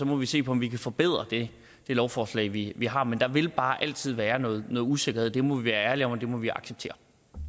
må vi se på om vi kan forbedre det lovforslag vi vi har men der vil bare altid være noget usikkerhed det må vi være ærlige om og det må vi acceptere